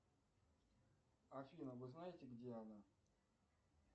афина вы знаете где она